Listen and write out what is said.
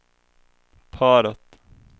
paret